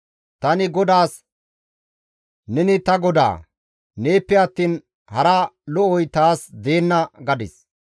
Tani GODAAS, «Neni ta Godaa; neeppe attiin hara lo7oy taas deenna» gadis.